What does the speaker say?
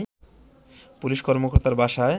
police কর্মকর্তার বাসায়